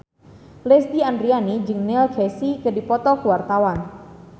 Lesti Andryani jeung Neil Casey keur dipoto ku wartawan